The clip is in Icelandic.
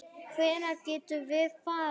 Hvenær getum við farið?